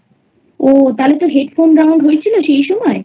ও তাহলে তো Headphone Round হয়েছিল সেই সময়?